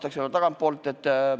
Ma alustan tagantpoolt.